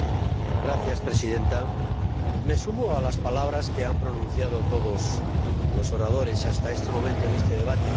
Señora Presidenta, me sumo a las palabras que han pronunciado todos los oradores hasta este momento en este debate.